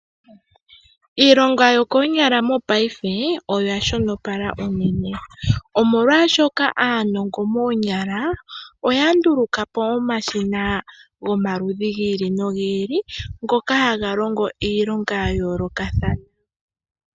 Iilonga yokoonyala mopaife , oya shonopala unene omolwaashoka aanongo moonyala , oya ndulukapo omashina gomaludhi gi ili nogi ili ngoka haga longo iilonga ya yoolokathana.